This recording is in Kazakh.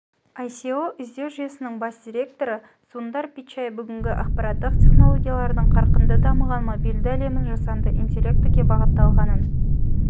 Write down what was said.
оое іздеу жүйесінің бас директоры сундар пичай бүгінгі ақпараттық тенологиялардың қарқынды дамыған мобильді әлемін жасанды интеллектіге бағытталғанын